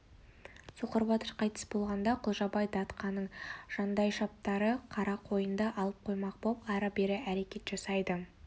соқыр батыр қайтыс болғанда құлжабай датқаның жандайшаптары қарақойынды алып қоймақ боп ары-бері әрекет жасайды